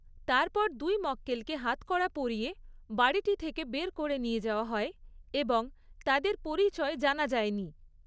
তারপর দুই মক্কেলকে হাতকড়া পরিয়ে বাড়িটি থেকে বের করে নিয়ে যাওয়া হয় এবং তাদের পরিচয় জানা যায়নি।